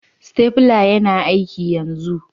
Stapler yana aiki yanzu.